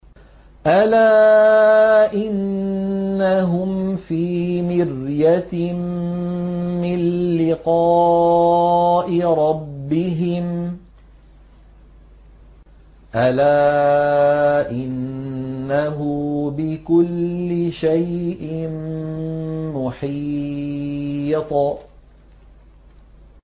أَلَا إِنَّهُمْ فِي مِرْيَةٍ مِّن لِّقَاءِ رَبِّهِمْ ۗ أَلَا إِنَّهُ بِكُلِّ شَيْءٍ مُّحِيطٌ